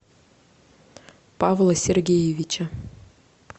павла сергеевича